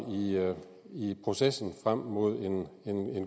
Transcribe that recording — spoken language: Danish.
i processen frem mod en